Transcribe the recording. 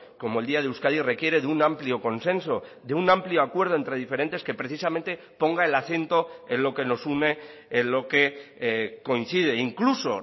como el día de euskadi requiere de un amplio consenso de un amplio acuerdo entre diferentes que precisamente ponga el acento en lo que nos une en lo que coincide incluso